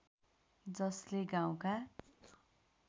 जसले गाउँका